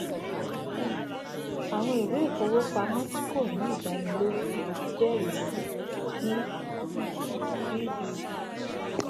um awọn iwe ifowopamọ ti ko ni idaniloju jẹrisi ni um bbb